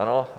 Ano?